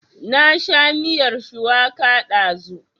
Na sha miyar shuwaka ɗazu